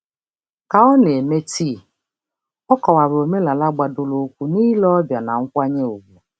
Ka ọ na-eme tii, ọ kọwara omenala gbadoroụkwụ n'ile ọbịa na nkwanye ùgwù.